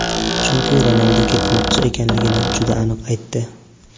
chunki Ronaldu ketmoqchi ekanligini juda aniq aytdi.